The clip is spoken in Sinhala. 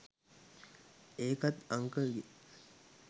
ඒකත් අංකල්ගෙ